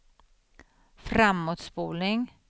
framåtspolning